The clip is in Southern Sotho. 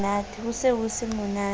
ho se ho se monate